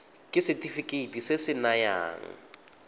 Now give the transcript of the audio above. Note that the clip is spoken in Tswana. ke setefikeiti se se nayang